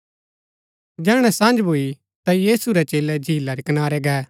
जैहणै सझं भूई ता यीशु रै चेलै झीला रै कनारै गै